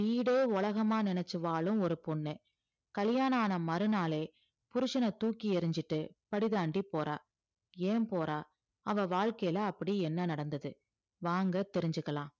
வீடே உலகமா நினைச்சு வாழும் ஒரு பொண்ணு கல்யாண ஆன மறுநாளே புருஷன தூக்கி எறிஞ்சிட்டு படி தாண்டி போறா ஏன் போறா அவ வாழ்க்கையில அப்படி என்ன நடந்தது வாங்க தெரிஞ்சுக்கலாம்